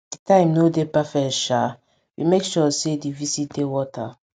di time nor dey perfect sha we make sure say di visit dey worth am